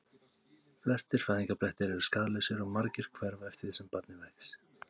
Flestir fæðingarblettir eru skaðlausir og margir hverfa eftir því sem barnið vex.